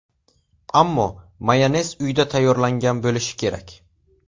Ammo mayonez uyda tayyorlangan bo‘lishi kerak.